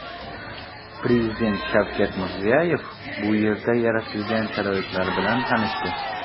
Prezident Shavkat Mirziyoyev bu yerda yaratilgan sharoitlar bilan tanishdi.